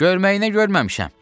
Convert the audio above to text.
Görməyinə görməmişəm.